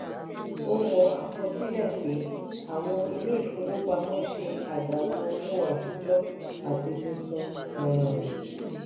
o wọ akọsilẹ pé àwọn ilé ìfowópamọ́ ṣe adalu owó atijọ àti tuntun. um